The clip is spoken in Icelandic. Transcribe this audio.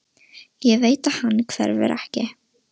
Ég veit að hann hverfur ekki.